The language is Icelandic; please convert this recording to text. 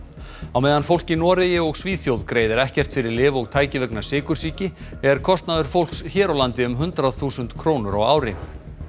á meðan fólk í Noregi og Svíþjóð greiðir ekkert fyrir lyf og tæki vegna sykursýki er kostnaður fólks hér á landi um hundrað þúsund krónur á ári